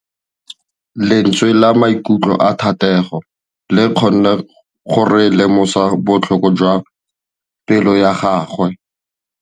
Lentswe la maikutlo a Thategô le kgonne gore re lemosa botlhoko jwa pelô ya gagwe.